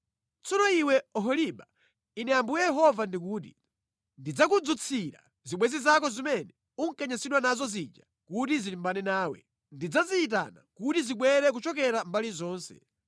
“Tsono iwe Oholiba, Ine Ambuye Yehova ndikuti: Ndidzakudzutsira zibwenzi zako zimene unkanyansidwa nazo zija kuti zilimbane nawe. Ndidzaziyitana kuti zibwere kuchokera mbali zonse.